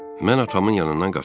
Mən atamın yanından qaçıram.